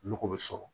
Nɔgɔ bɛ sɔrɔ